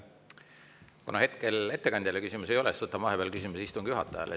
Kuna hetkel ettekandjale küsimusi ei ole, võtan vahepeal küsimuse istungi juhatajale.